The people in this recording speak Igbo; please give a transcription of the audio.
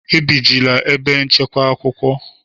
Ebijila ebe nchekwa akwụkwọ!